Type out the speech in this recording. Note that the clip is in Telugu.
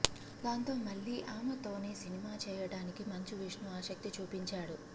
దాంతో మళ్లీ ఆమెతోనే సినిమా చేయడానికి మంచు విష్ణు ఆసక్తి చూపించాడు